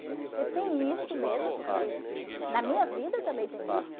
Porque tem isso mesmo, porque na minha vida também tem isso.